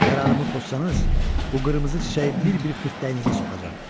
Qərarımı pozsanız, bu qırmızı çiçəyi bir-bir xırtdağınıza soxacam.